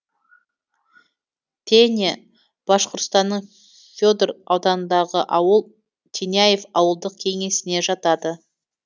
теня башқұртстанның федор ауданындағы ауыл теняев ауылдық кеңесіне жатады